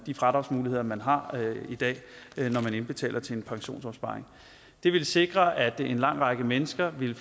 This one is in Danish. de fradragsmuligheder man har i dag når man indbetaler til en pensionsopsparing det vil sikre at en lang række mennesker ville